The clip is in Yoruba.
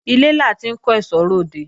Ilé la ti ń kó èsó re òde